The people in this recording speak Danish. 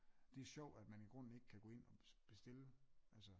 Det sjovt at man i grunden ikke kan gå ind og bestille altså